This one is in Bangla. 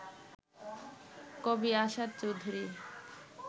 কবি আসাদ চৌধুরী